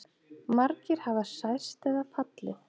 Margir hafa særst eða fallið